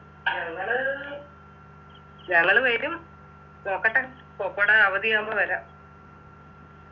ഞങ്ങള് ഞങ്ങള് വരും നോക്കട്ടെ പൊപോയിടെ അവധിയാവുമ്പൊ വരാ